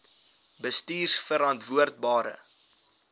bestuurverantwoordbare